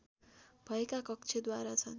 भएका कक्ष द्वार छन्